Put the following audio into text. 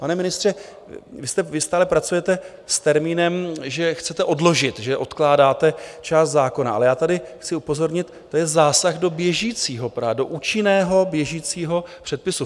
Pane ministře, vy stále pracujete s termínem, že chcete odložit, že odkládáte část zákona, ale já tady chci upozornit, to je zásah do běžícího, do účinného, běžícího předpisu.